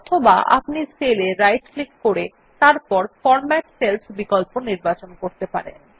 অথবা আপনি সেল এ রাইট ক্লিক করে তারপর ফরম্যাট সেলস বিকল্প নির্বাচন করতে পারেন